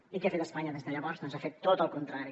i què ha fet espanya des de llavors doncs ha fet tot el contrari